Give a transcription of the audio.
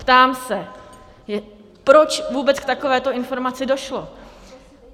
Ptám se: Proč vůbec k takovéto informaci došlo?